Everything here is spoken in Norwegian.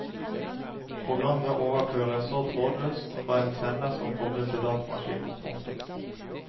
Programmet overføres så trådløst fra en sender som kobles til datamaskinen. punktum